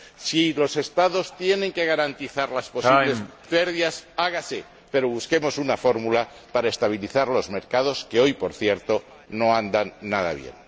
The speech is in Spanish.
Si los Estados tienen que garantizar las posibles pérdidas, hágase, pero busquemos una fórmula para estabilizar los mercados, que hoy, por cierto, no andan nada bien.